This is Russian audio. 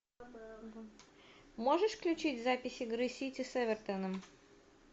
можешь включить запись игры сити с эвертоном